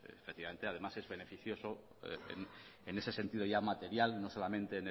efectivamente además es beneficioso en ese sentido ya material no solamente